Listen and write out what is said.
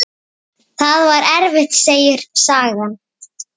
Það var erfitt, segir sagan.